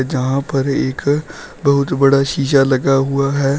जहां पर एक बहुत बड़ा शीशा लगा हुआ है।